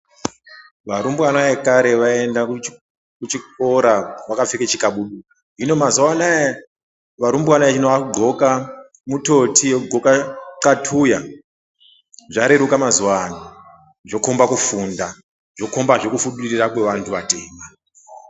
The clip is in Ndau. Varumbwana ekare vaienda kuchikora vakapfeke chikabudura hino mazuwana varumbwa vechino vakudhloka mitoti yekudhloka katuya zvareruka mazuwano zvokomba kufunda zvokomba zvekufubirira kwevanhu vatema